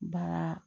Baara